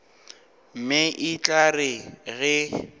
mme e tla re ge